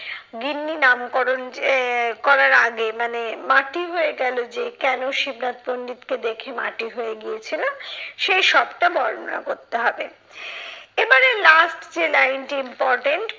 গিন্নি নামকরণ আহ করার আগে মানে মাটি হয়ে গেলো যে কেন শিবনাথ পন্ডিতকে দেখে মাটি হয়ে গিয়েছিলো সেই সবটা বর্ণনা করতে হবে। এবারে last যে line টি important